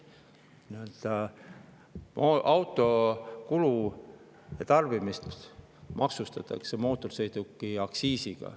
Nii-öelda auto kulu ja tarbimist maksustatakse aktsiisiga.